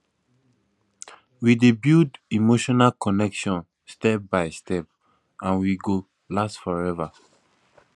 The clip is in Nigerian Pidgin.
we dey build emotional connection step by step and we go last forever